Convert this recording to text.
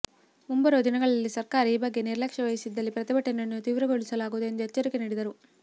ಮುಂಬರುವ ದಿನಗಳಲ್ಲಿ ಸರ್ಕಾರ ಈ ಬಗ್ಗೆ ನಿರ್ಲಕ್ಷ್ಯೆ ವಹಿಸಿದಲ್ಲಿ ಪ್ರತಿಭಟನೆಯನ್ನು ತೀರ್ವಗೊಳಿಸಲಾಗುವುದು ಎಂದು ಎಚ್ಚರಿಕೆ ನೀಡಿದರು